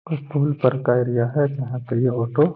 कोई पुल पर का एरिया हैं जहाँ पे ये ऑटो --